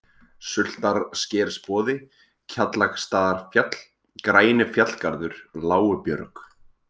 Sultarskersboði, Kjallaksstaðarfjall, Grænifjallgarður, Lágubjörg